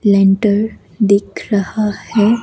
Lentil दिख रहा है।